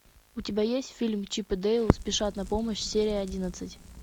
у тебя есть фильм чип и дейл спешат на помощь серия одиннадцать